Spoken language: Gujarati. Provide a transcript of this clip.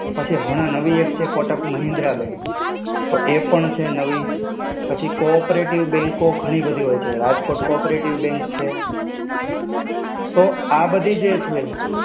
પછી હમણાં નવી એક છે, Kotak Mahindra Bank. તો એ પણ છે નવી. પછી co-operative bank ઘણી બધી હોય છે, રાજકોટ co-operative bank છે. તો આ બધી જે છે,